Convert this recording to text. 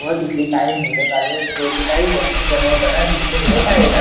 व तिथे काही मुले कार्यानुभावाची वस्तू बनवताना दिसत आहेत.